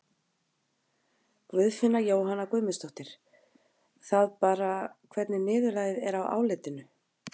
Guðfinna Jóhanna Guðmundsdóttir: Það bara, hvernig niðurlagið er á álitinu?